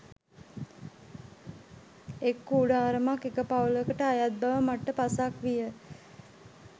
එක් කූඩාරමක් එක පවුලකට අයත් බව මට පසක් විය